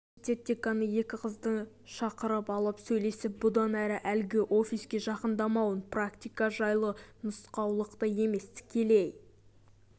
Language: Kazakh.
университет деканы екі қызды шақырып алып сөйлесіп бұдан әрі әлгі офиске жақындамауын практика жайлы нұсқаулықты емес тікелей